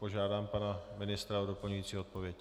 Požádám pana ministra o doplňující odpověď.